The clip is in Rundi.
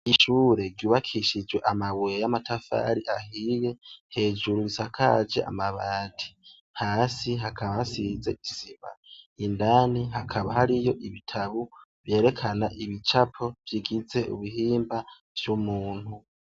Ishure ryubakishijwe amabuye y' amatafari ahiye hejuru bisakaje amabati hasi hakaba hasize isima indani hakaba hariyo ibitabo vyerekana ibicapo bigize ibihimba vyumuntu .